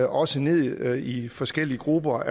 også ned i forskellige grupper